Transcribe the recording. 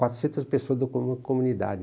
Quatrocentas pessoas da comu comunidade.